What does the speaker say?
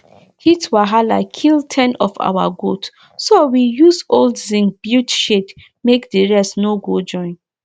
heat wahala kill ten of our goat so we use old zinc build shade make the rest no go join